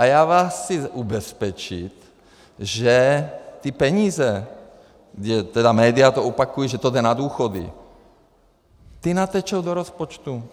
A já vás chci ubezpečit, že ty peníze, tedy média to opakují, že to jde na důchody, ty natečou do rozpočtu.